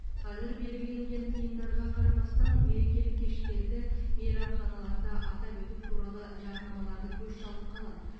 қазір белгіленген тыйымдарға қарамастан мерекелік кештерді мейрамханаларда атап өту туралы жарнамаларды көз шалып қалады